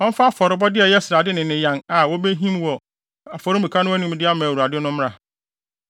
Ɔmfa afɔrebɔde a ɛyɛ srade ne ne yan a wobehim wɔ afɔremuka no anim de ama Awurade no mmra.